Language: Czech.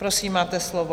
Prosím, máte slovo.